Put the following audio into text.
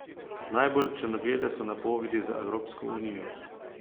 Najbolj črnoglede so napovedi za Evropsko Unijo.